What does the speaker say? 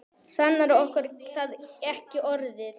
Sannara getur það ekki orðið.